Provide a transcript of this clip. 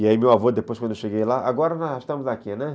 E aí meu avô, depois quando eu cheguei lá, agora nós estamos aqui, né?